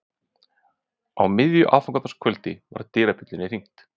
Á miðju aðfangadagskvöldi var dyrabjöllunni hringt.